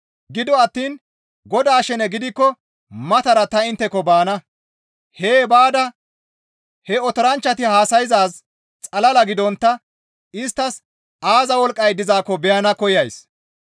Gido attiin Godaa shene gidikko matara ta intteko baana; hee baada he otoranchchati haasayzaaz xalala gidontta isttas aaza wolqqay dizaakko beyana koyays.